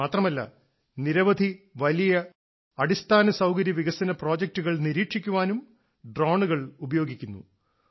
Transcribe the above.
ഇത് മാത്രമല്ല നിരവധി വലിയ അടിസ്ഥാന സൌകര്യ വികസന പ്രോജക്ടുകൾ നിരീക്ഷിക്കാനും ഡ്രോണുകൾ ഉപയോഗിക്കുന്നു